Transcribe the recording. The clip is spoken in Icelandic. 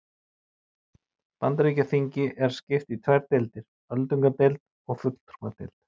Bandaríkjaþingi er skipt í tvær deildir, öldungadeild og fulltrúadeild.